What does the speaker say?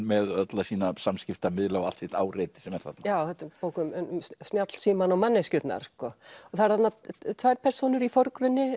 með alla sína samskiptamiðla og allt sitt áreiti sem er þarna þetta er bók um snjallsímann og manneskjurnar það eru þarna tvær persónur í forgrunni